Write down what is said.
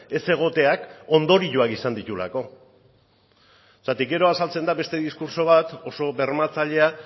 ez egoteak ondorioak izan dituelako zergatik gero azaltzen da beste diskurtso bat oso bermatzailea